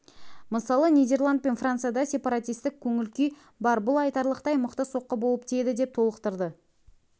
мысалы нидерланд пен францияда сепаратистік көңіл-күй бар бұл айтарлықтай мықты соққы болып тиеді деп толықтырды